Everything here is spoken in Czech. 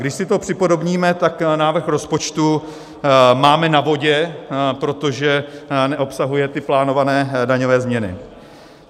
Když si to připodobníme, tak návrh rozpočtu máme na vodě, protože neobsahuje ty plánované daňové změny.